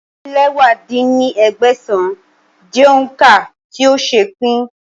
ọ́ta-din-lẹwá dín ní ẹgbẹ́sán jẹ́ òun ká tí ó ṣeé pín